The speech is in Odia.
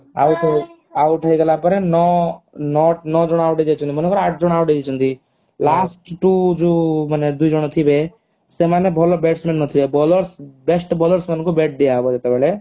out ହେଇଗଲା ପରେ ନଅ ନଅ ଜଣ out ହେଇଯାଇଛନ୍ତି ମନେ କର ଆଠ ଜଣ out ହେଇଯାଇଛନ୍ତି last two ଯୋଉ ଦୁଇ ଜଣ ଥିବେ ସେମାନେ ଭଲ bats man ନ ଥିବେ bowlers best bowlers ମାନଙ୍କୁ bat ଦିଆ ହବ ଯେତେବେଳେ